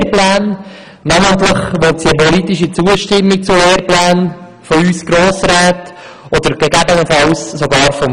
Namentlich will sie eine politische Zustimmung zu Lehrplänen von uns Grossräten oder gegebenenfalls sogar seitens des Volks.